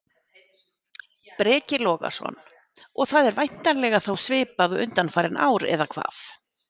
Breki Logason: Og það er væntanlega þá svipað og undanfarin ár, eða hvað?